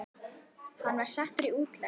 Hann var settur í útlegð.